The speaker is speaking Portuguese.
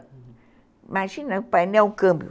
Imagina, o painel, o câmbio.